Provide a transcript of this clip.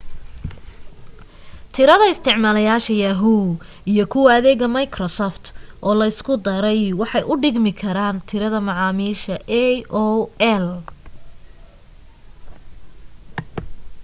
tirada isticmaalayaasha yahoo iyo kuwa adeega microsoft oo la isku daray waxay u dhigmi karaan tirada macaamiisha aol